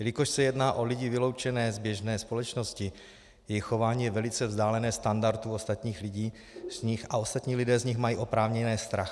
Jelikož se jedná o lidi vyloučené z běžné společnosti, jejich chování je velice vzdálené standardu ostatních lidí a ostatní lidé z nich mají oprávněně strach.